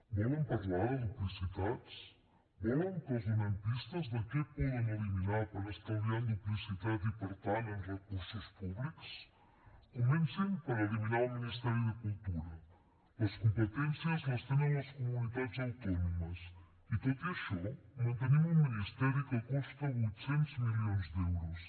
volen parlar de duplicitats volen que els donem pistes de què poden eliminar per estalviar en duplicitat i per tant en recursos públics comencin per eliminar el ministeri de cultura les competències les tenen les comunitats autònomes i tot i això mantenim un ministeri que costa vuit cents milions d’euros